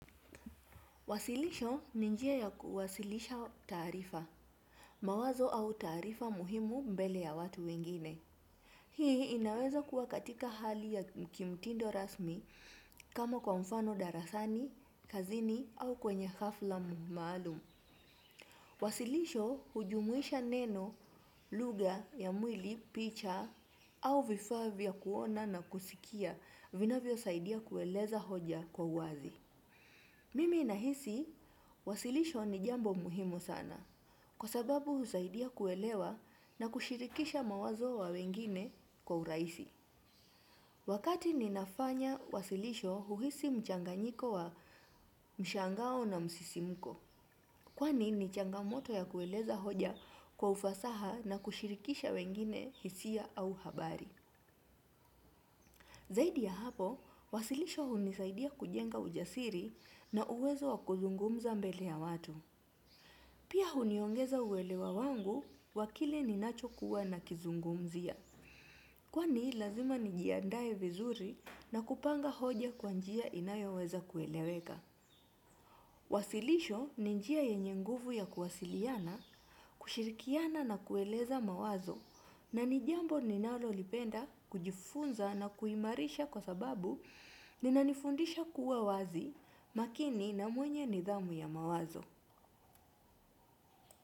Wasilisho ni njia ya kuwasilisha taarifa, mawazo au taarifa muhimu mbele ya watu wengine. Hii inaweza kuwa katika hali ya kimtindo rasmi kama kwa mfano darasani, kazini au kwenye hafla maalum. Wasilisho hujumuisha neno lugha ya mwili, picha au vifaa vya kuona na kusikia vinavyo saidia kueleza hoja kwa wazi. Mimi nahisi, wasilisho ni jambo muhimu sana, kwa sababu husaidia kuelewa na kushirikisha mawazo wa wengine kwa urahisi. Wakati ninafanya wasilisho huhisi mchanganyiko wa mshangao na msisimuko, kwani ni changamoto ya kueleza hoja kwa ufasaha na kushirikisha wengine hisia au habari. Zaidi ya hapo, wasilisho hunisaidia kujenga ujasiri na uwezo wa kuzungumza mbele ya watu. Pia huniongeza uelewa wangu wakile ninacho kuwa nakizungumzia. Kwani lazima nijiandae vizuri na kupanga hoja kwa njia inayoweza kueleweka. Wasilisho ni njia yenye nguvu ya kuwasiliana, kushirikiana na kueleza mawazo. Na ni jambo ninalo lipenda kujifunza na kuimarisha kwa sababu linanifundisha kuwa wazi makini na mwenye nidhamu ya mawazo.